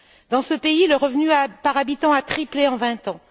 Dans ce pays, le revenu par habitant a triplé en vingt ans.